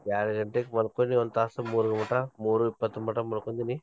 ಯಾಡ್ ಗಂಟೆಕ್ ಮಲ್ಕೊಂಡ್ವಿ ಒಂತಾಸ ಮುರರ್ ಮಟಾ, ಮುರು ಇಪ್ಪತೊಂಬತ್ತ್ ಮಲ್ಕೊಂತಿನಿ.